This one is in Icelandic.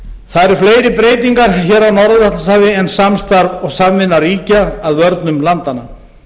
eru fleiri breytingar hér á norður altantshafi en samstarf og samvinna ríkja að vörnum landanna